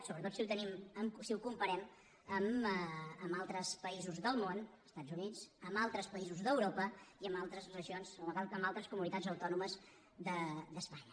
sobretot si ho comparem amb altres països del món estats units amb altres països d’europa i amb altres regions o amb altres comunitats autònomes d’espanya